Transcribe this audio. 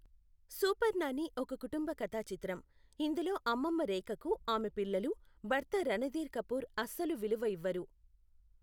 Super Nani ఒక కుటుంబ కథా చిత్రం, ఇందులో అమ్మమ్మ రేఖకు ఆమె పిల్లలు, భర్త రణధీర్ కపూర్ అస్సలు విలువ ఇవ్వరు.